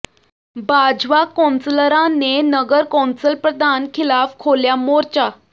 ਭਾਜਪਾ ਕੌਂਸਲਰਾਂ ਨੇ ਨਗਰ ਕੌਂਸਲ ਪ੍ਰਧਾਨ ਖ਼ਿਲਾਫ਼ ਖੋਲ੍ਹਿਆ ਮੋਰਚਾ